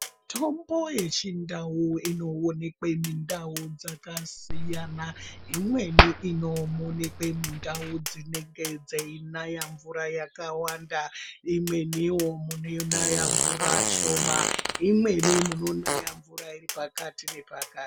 Mitombo yechindau inookwe mundau dzakasiyana, imweni inoonekwe mundau dzinenge dzeinaya mvura yakawanda, imweniwo munonaya mvura shoma, imweni munonaya mvura iripakati nepakati.